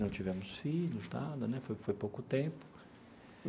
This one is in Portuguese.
Não tivemos filhos, nada né, foi foi pouco tempo.